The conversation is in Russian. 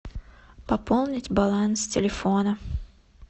пополнить баланс телефона